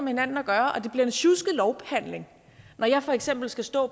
hinanden at gøre og det bliver en sjusket lovbehandling når jeg for eksempel skal stå